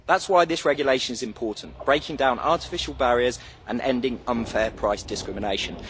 That is why this regulation is important breaking down artificial barriers and ending unfair price discrimination.